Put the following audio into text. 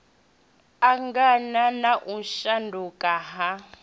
angana na u shanduka ha